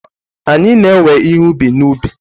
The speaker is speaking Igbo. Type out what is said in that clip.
anyị na-ewe ihe ubi n'ubi